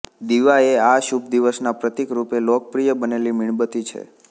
દીવા એ આ શુભદિવસના પ્રતિક રૂપે લોકપ્રિય બનેલી મીણબત્તી છે